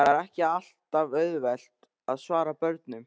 Það er ekki alltaf auðvelt að svara börnunum.